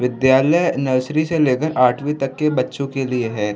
विद्यालय नर्सरी से लेकर आठवीं तक के बच्चों के लिए है।